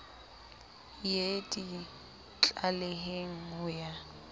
ye di tlaleheng ho ya